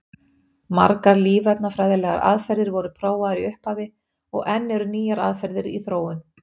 Margar lífefnafræðilegar aðferðir voru prófaðar í upphafi og enn eru nýjar aðferðir í þróun.